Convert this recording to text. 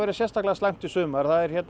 sérstaklega slæmt í sumar